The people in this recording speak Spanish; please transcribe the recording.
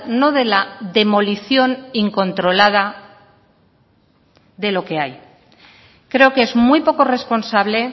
no de la demolición incontrolada de lo que hay creo que es muy poco responsable